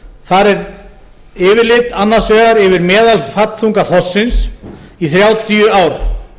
þar er yfirlit annars vegar yfir meðalfallþunga þorsksins í þrjátíu ár